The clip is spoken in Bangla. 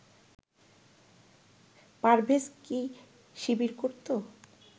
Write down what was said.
পারভেজ কি শিবির করতো